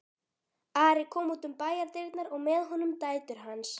Ari kom út um bæjardyrnar og með honum dætur hans.